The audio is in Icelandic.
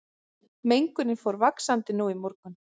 Mengunin fór vaxandi nú í morgun